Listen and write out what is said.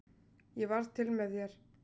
Ég varð til með þér.